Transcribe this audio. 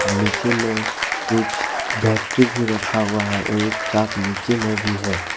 नीचे में कुछ बैटरी भी रखा हुआ है और एक चाक नीचे भी है।